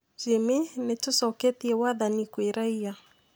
Jimmy: Nĩtũcoketie wathani kwĩ raia